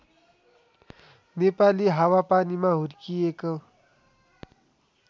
नेपाली हावापानीमा हुर्किएको